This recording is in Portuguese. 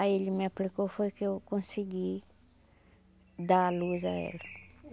Aí ele me aplicou, foi que eu consegui dar à luz à ela.